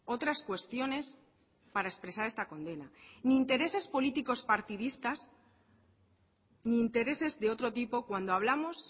otras cuestiones para expresar esta condena ni intereses políticos partidistas ni intereses de otro tipo cuando hablamos